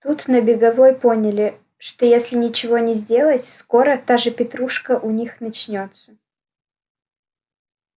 тут на беговой поняли что если ничего не сделать скоро та же петрушка у них начнётся